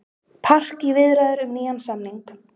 Park í viðræður um nýjan samning